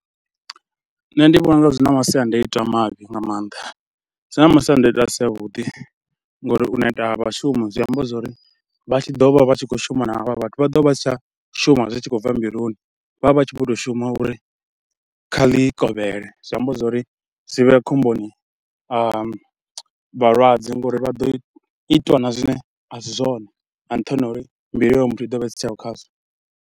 Nṋe ndi vhona u nga zwi na masiandoitwa mavhi nga maanḓa, zwi na masiandaitwa a si avhuḓi ngauri u neta ha vhashumi zwi amba zwori vha tshi ḓo vha vha tshi khou shuma na havha vhathu vha ḓo vha si tsha shuma zwi tshi khou bva mbiluni, vha vha vha tshi vho to shuma uri kha ḽi kovhele. Zwi amba zwa uri zwi vhe khomboni vhalwadze ngauri vha ḓo itwa na zwine a si zwone nga nṱhani ha uri mbilu ya hoyo muthu i ḓo vha i si tsheo khazwo.